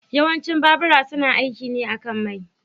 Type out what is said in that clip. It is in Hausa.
Yawancin babura suna aiki ne akan mai.